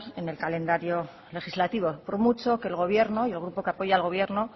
en el calendario legislativo por mucho que el gobierno y el grupo que apoya al gobierno